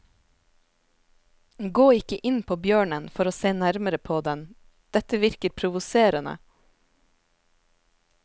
Gå ikke inn på bjørnen for å se nærmere på den, dette virker provoserende.